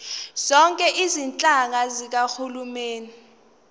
zonke izinhlaka zikahulumeni